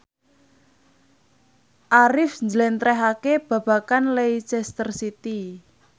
Arif njlentrehake babagan Leicester City